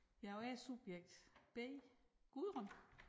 Jeg og jeg er subjekt B Gudrun